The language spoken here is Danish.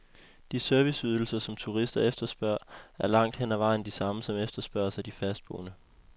De serviceydelser, som turister efterspørger, er langt hen ad vejen de samme, som efterspørges af de fastboende.